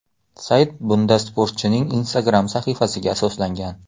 Sayt bunda sportchining Instagram sahifasiga asoslangan.